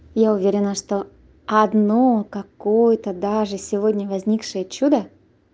я уверена что одно какое-то даже сегодня возникшее чудо